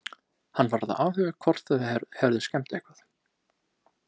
Hann varð að athuga hvort þeir hefðu skemmt eitthvað.